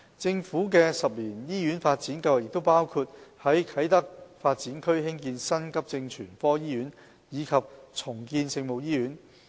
政府的10年醫院發展計劃亦包括於啟德發展區興建新急症全科醫院及重建聖母醫院。